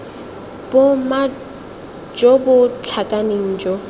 boma jo bo tlhakaneng jo